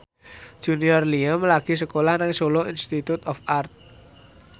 Junior Liem lagi sekolah nang Solo Institute of Art